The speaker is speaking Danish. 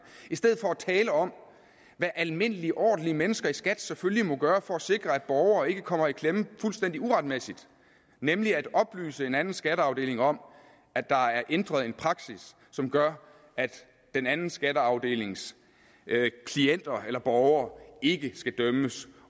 i stedet for at tale om hvad almindelige ordentlige mennesker i skat selvfølgelig må gøre for at sikre at borgere ikke kommer i klemme fuldstændig uretmæssigt nemlig at oplyse en anden skatteafdeling om at der er ændret en praksis som gør at den anden skatteafdelings klienter eller borgere ikke skal dømmes